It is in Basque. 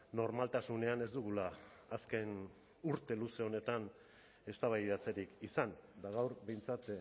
normaltasunean ez dugula azken urte luze honetan eztabaidatzerik izan eta gaur behintzat